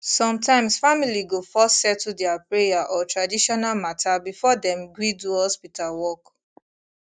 sometimes family go first settle their prayer or traditional matter before dem gree do hospital work